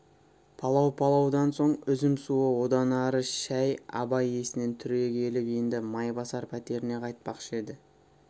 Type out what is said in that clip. палау палаудан соң үзім суы одан әрі шай абай есінеп түрегеліп енді майбасар пәтеріне қайтпақшы еді